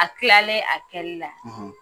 A kilalen a kɛli la